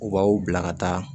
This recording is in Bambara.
U b'aw bila ka taa